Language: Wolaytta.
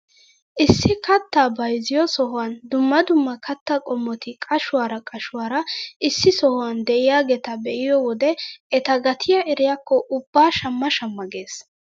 Issi kattaa bayzziyoo sohuwaan dumma dumma kattaa qommoti qashshuwaara qashshuwaara issi sohuwaan de'iyaageta be'iyoo wode eta gatiyaa eriyakko ubba shamma shamma ges.